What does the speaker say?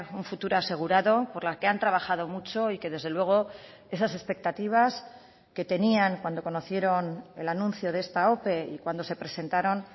un futuro asegurado por la que han trabajado mucho y que desde luego esas expectativas que tenían cuando conocieron el anuncio de esta ope y cuando se presentaron